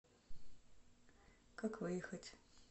как выехать